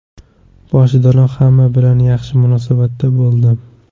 Boshidanoq hamma bilan yaxshi munosabatda bo‘ldim.